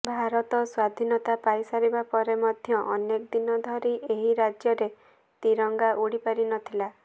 ଭାରତ ସ୍ୱାଧୀନତା ପାଇ ସାରିବା ପରେ ମଧ୍ୟ ଅନେକ ଦିନ ଧରି ଏହି ରାଜ୍ୟରେ ତ୍ରିରଙ୍ଗା ଉଡି ପାରିନଥିଲା